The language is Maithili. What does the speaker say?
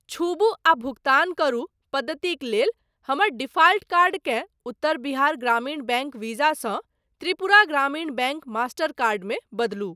छूबु आ भुगतान करू पद्धतिक लेल हमर डिफाल्ट कार्डकेँ उत्तर बिहार ग्रामीण बैंक वीज़ा सँ Tripura Gramin bank master card मे बदलू।